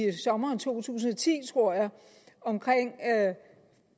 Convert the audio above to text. sommeren to tusind og ti tror jeg om at